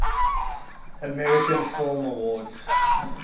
american film awards